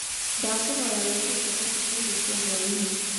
Ndakũhoya wĩĩtĩe chabachĩ ta ĩrĩo cĩa hwaĩnĩ